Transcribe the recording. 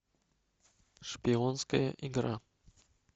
шпионская игра